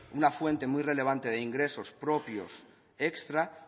una fuente muy relevante de ingresos propios extra